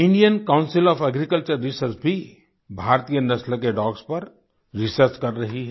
Indian council of agriculture research भी भारतीय नस्ल के डॉग्स पर रिसर्च कर रही है